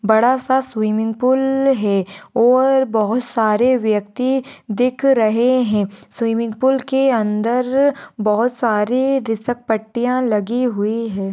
बड़ा सा swimming pool है और बहुत सारे व्यक्ति दिख रहे है स्विमिंग पूल के अन्दर बहुत सारे रिसक पट्टिया लगी हुई है।